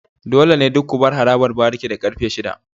Dole ne duk ku bar harabar bariki da karfe shida.